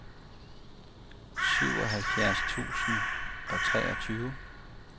syvoghalvfjerds tusind og treogtyve